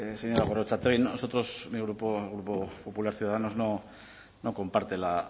señora gorrotxategi nosotros mi grupo el grupo popular ciudadanos no comparte